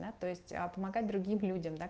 да то есть а помогать другим людям да